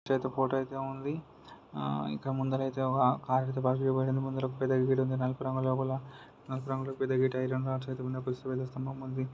అయితే వుంది ఆ ఇంకా ముందర అయితే కార్ అయితే పార్క్ చేయబడి వుంది ముందర పెద్ద పెద్ద ఐరన్ రాడ్స్ వున్నాయ్ ఒక ద్వజ స్థంభం వుంది.